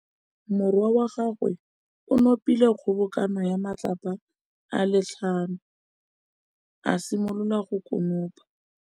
Morwa wa gagwe o nopile kgobokanô ya matlapa a le tlhano, a simolola go konopa.